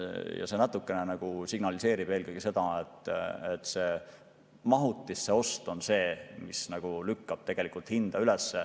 Ja see natukene nagu signaliseerib eelkõige seda, et mahutisse ost lükkab tegelikult hinda üles.